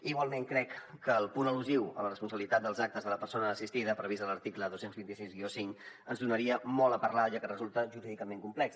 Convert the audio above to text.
igualment crec que el punt al·lusiu a la responsabilitat dels actes de la persona assistida previst a l’article dos cents i vint sis cinc ens faria parlar molt ja que resulta jurídicament complex